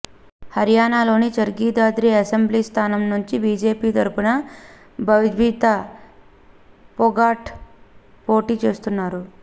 హరియాణాలోని Charkhi Dadri assembly స్థానం నుంచి BJP తరఫున బబిత ఫొగాట్ పోటీ చేస్తున్నారు